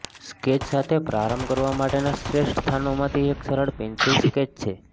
sketch સાથે પ્રારંભ કરવા માટેના શ્રેષ્ઠ સ્થાનોમાંથી એક સરળ પેન્સિલ સ્કેચ છે